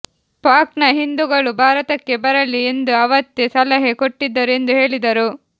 ಪಾಕ್ನ ಹಿಂದೂಗಳು ಭಾರತಕ್ಕೆ ಬರಲಿ ಎಂದು ಅವತ್ತೇ ಸಲಹೆ ಕೊಟ್ಟಿದ್ದರು ಎಂದು ಹೇಳಿದರು